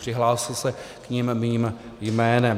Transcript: Přihlásil se k nim mým jménem.